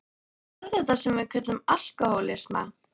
Hvað er þetta sem við köllum alkohólisma?